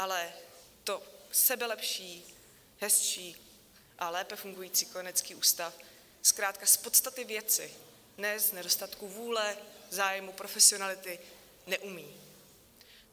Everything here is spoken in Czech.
Ale to sebelepší, hezčí a lépe fungující kojenecký ústav zkrátka z podstaty věci, ne z nedostatku vůle, zájmu, profesionality, neumí.